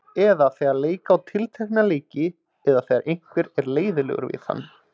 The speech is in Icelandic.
Eða þegar leika á tiltekna leiki eða þegar einhver er leiðinlegur við hann?